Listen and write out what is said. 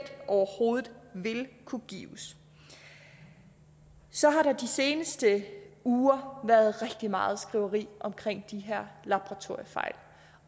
overhovedet vil kunne gives så har der de seneste uger været rigtig meget skriveri om de her laboratoriefejl